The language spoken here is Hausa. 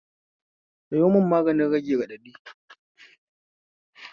Sayo mun magani rage raɗaɗi